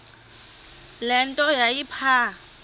le nto yayipha